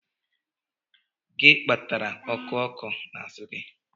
Gị kpatara oku oko n'azụ gị?